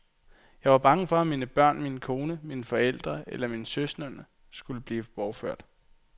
Jeg var bange for at mine børn, min kone, mine forældre eller mine søskende skulle blive bortført.